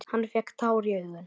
Hann fékk tár í augun.